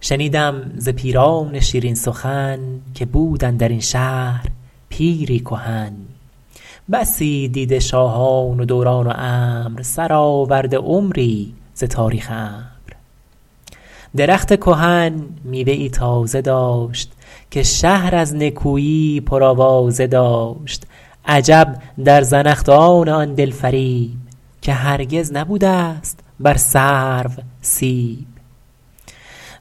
شنیدم ز پیران شیرین سخن که بود اندر این شهر پیری کهن بسی دیده شاهان و دوران و امر سرآورده عمری ز تاریخ عمرو درخت کهن میوه ای تازه داشت که شهر از نکویی پرآوازه داشت عجب در زنخدان آن دل فریب که هرگز نبوده ست بر سرو سیب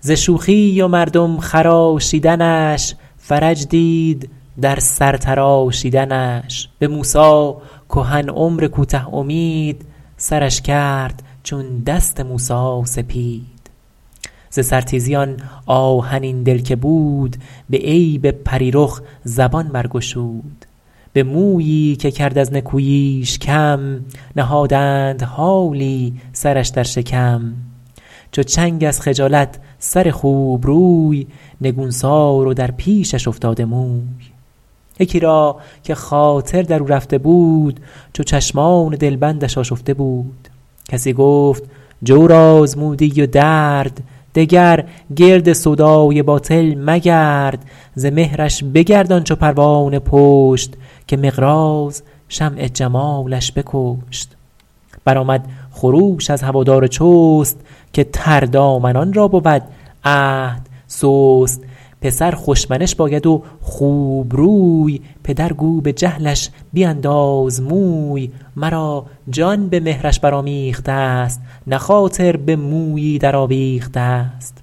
ز شوخی و مردم خراشیدنش فرج دید در سر تراشیدنش به موسی کهن عمر کوته امید سرش کرد چون دست موسی سپید ز سر تیزی آن آهنین دل که بود به عیب پری رخ زبان برگشود به مویی که کرد از نکوییش کم نهادند حالی سرش در شکم چو چنگ از خجالت سر خوبروی نگونسار و در پیشش افتاده موی یکی را که خاطر در او رفته بود چو چشمان دلبندش آشفته بود کسی گفت جور آزمودی و درد دگر گرد سودای باطل مگرد ز مهرش بگردان چو پروانه پشت که مقراض شمع جمالش بکشت برآمد خروش از هوادار چست که تردامنان را بود عهد سست پسر خوش منش باید و خوبروی پدر گو به جهلش بینداز موی مرا جان به مهرش برآمیخته ست نه خاطر به مویی در آویخته ست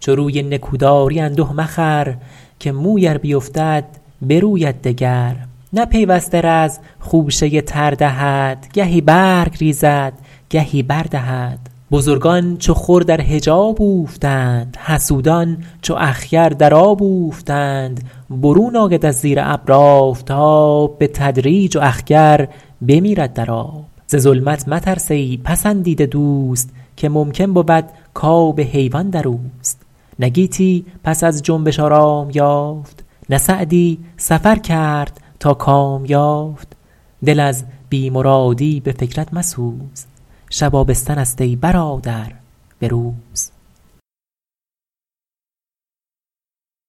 چو روی نکو داری انده مخور که موی ار بیفتد بروید دگر نه پیوسته رز خوشه تر دهد گهی برگ ریزد گهی بر دهد بزرگان چو خور در حجاب اوفتند حسودان چو اخگر در آب اوفتند برون آید از زیر ابر آفتاب به تدریج و اخگر بمیرد در آب ز ظلمت مترس ای پسندیده دوست که ممکن بود کاب حیوان در اوست نه گیتی پس از جنبش آرام یافت نه سعدی سفر کرد تا کام یافت دل از بی مرادی به فکرت مسوز شب آبستن است ای برادر به روز